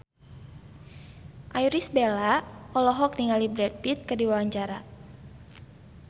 Irish Bella olohok ningali Brad Pitt keur diwawancara